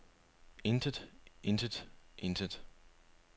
intet intet intet